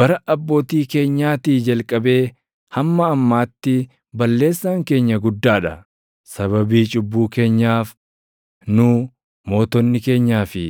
Bara abbootii keenyaatii jalqabee hamma ammaatti balleessaan keenya guddaa dha. Sababii cubbuu keenyaaf nu, mootonni keenyaa fi